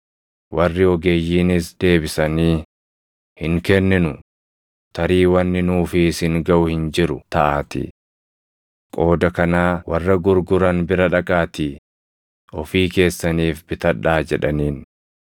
“Warri ogeeyyiinis deebisanii, ‘Hin kenninu; tarii wanni nuu fi isin gaʼu hin jiru taʼaatii. Qooda kanaa warra gurguran bira dhaqaatii ofii keessaniif bitadhaa’ jedhaniin.